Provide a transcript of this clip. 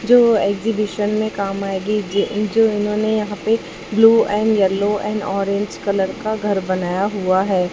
जो एग्जीबिशन में काम आएगी जो जो इन्होंने यहां पे blue and yellow and orange colour का घर बनाया हुआ है।